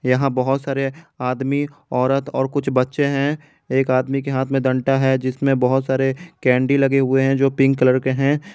यहां बहुत सारे आदमी औरत और कुछ बच्चे हैं एक आदमी के हाथ में डंडा है जिसमें बहुत सारे कैंडी लगे हुए हैं जो पिंक कलर के हैं।